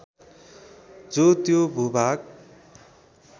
जो त्यो भूभाग